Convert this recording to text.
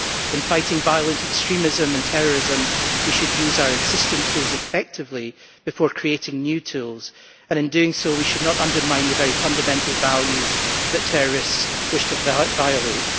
In fighting violent extremism and terrorism we should use our existing tools effectively before creating new tools, and in doing so we should not undermine the very fundamental values that terrorists wish to violate.